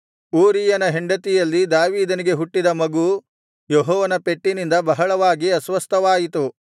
ಊರೀಯನ ಹೆಂಡತಿಯಲ್ಲಿ ದಾವೀದನಿಗೆ ಹುಟ್ಟಿದ ಮಗು ಯೆಹೋವನ ಪೆಟ್ಟಿನಿಂದ ಬಹಳವಾಗಿ ಅಸ್ವಸ್ಥವಾಯಿತು